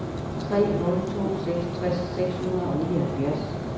tre nul to seks tres seks hundrede og nioghalvfjerds